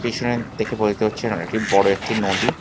পিছনে দেখে বলতে হচ্ছে বড় একটি নদী।